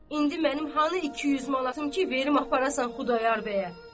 İndi mənim hanı 200 manatım ki, verim aparasan Xudayar bəyə?